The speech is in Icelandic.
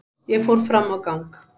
Ég fór fram á gang.